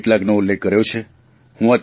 મેં કેટલાંકનો ઉલ્લેખ કર્યો છે